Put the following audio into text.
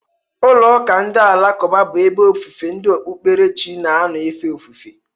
Ụlọ ụka na ụlọ alakụba bụ ebe ofufe ndị okpukpere chi na-anọ efe ofufe.